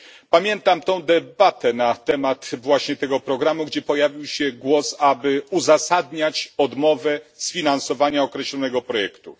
Pamiętam debatę na temat właśnie tego programu, w której pojawił się głos, by uzasadniać odmowę sfinansowania określonego projektu.